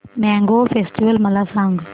mango festival मला सांग